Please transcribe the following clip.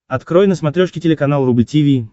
открой на смотрешке телеканал рубль ти ви